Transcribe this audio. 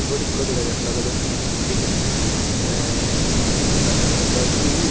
ebot ikko dega jattey olodey sib mukti tey sib muktibo kalaran oley dup.